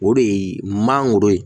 O de ye mangoro ye